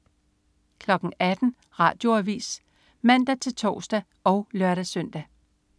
18.00 Radioavis (man-tors og lør-søn)